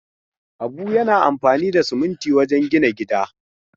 Habu yana amfani da siminti wajen gina gida.